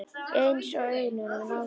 Eins og augun í honum Lása.